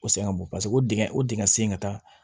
O sɛgɛn ka bon paseke o dingɛ o dingɛ sen ka taa